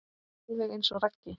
Alveg eins og Raggi.